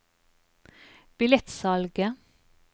billettsalget